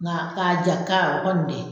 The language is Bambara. N'ga k'a ja o kɔni dɛ